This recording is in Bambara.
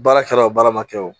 Baara kɛla o baara ma kɛ o